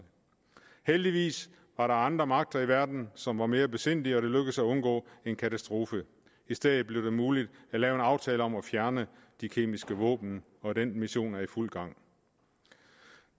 heldigvis var der andre magter i verden som var mere besindige og det lykkedes at undgå en katastrofe i stedet blev det muligt at lave en aftale om at fjerne de kemiske våben og den mission er i fuld gang